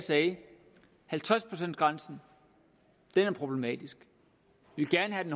halvtreds procents grænsen var problematisk de ville gerne have